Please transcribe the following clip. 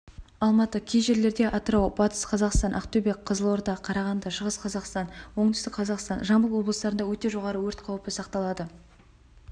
алматы кей жерлерде атырау батыс қазақстан ақтөбе қызылорда қарағанды шығыс қазақстан оңтүстік қазақстан жамбыл облыстарында өте жоғары өрт қаупі сақталады